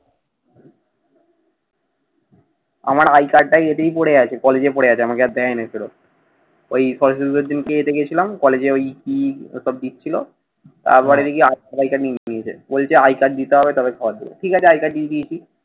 আমার আই কার্ডটাই এদিকে পড়ে আছে। কলেজে পরে আছে। আমাকে দেয় নাই আর ফেরত। ওই কলেজে গিয়েছিলাম। কলেজে ওই কি তোর ওই দ্বীপ ছিল। তারপরে দেখি হাসপাতাল বলছে আই কার্ডটা দিতে হবে। তারপরে ঠিক আছে আই কার্ড দিয়ে দিয়েছি।